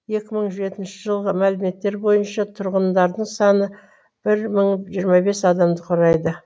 екі мың жетінші жылғы мәліметтер бойынша тұрғындарының саны бір мың жиырма бес адамды құрайды